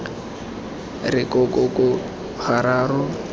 re ko ko ko gararo